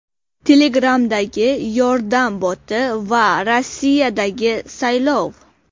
Telegram’dagi yordam boti va Rossiyadagi saylov.